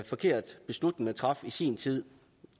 forkert beslutning man traf i sin tid